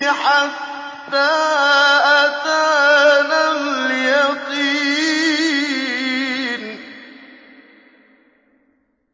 حَتَّىٰ أَتَانَا الْيَقِينُ